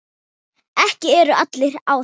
Ekki eru allir á því.